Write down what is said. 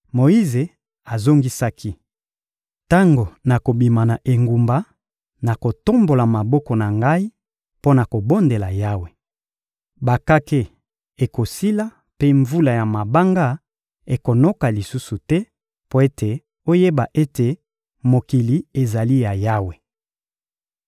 Moyize azongisaki: — Tango nakobima na engumba, nakotombola maboko na ngai mpo na kobondela Yawe. Bakake ekosila mpe mvula ya mabanga ekonoka lisusu te, mpo ete oyeba ete mokili ezali ya Yawe.